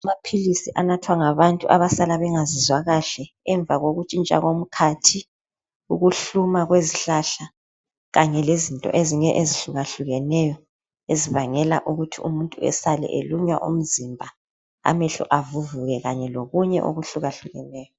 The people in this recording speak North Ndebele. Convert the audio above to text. Amaphilisi anathwa ngabantu abasala bengazizwa kahle emva kokuntshintsha komkhathi, ukuhluma kwezihlahla, kanye lezinto ezinye ezihlukahlukeneyo ezibangela ukuthi umuntu esale elunywa umzimba, amehlo avuvuke, kanye lokunye okuhlukahlukeneyo.